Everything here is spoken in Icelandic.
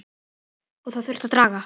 Það þurfti að draga